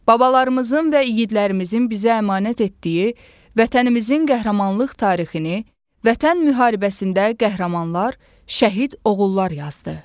Babalarımızın və igidlərimizin bizə əmanət etdiyi Vətənimizin qəhrəmanlıq tarixini, Vətən müharibəsində qəhrəmanlar, şəhid oğullar yazdı.